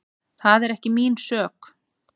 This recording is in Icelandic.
Það er ekki mín sök.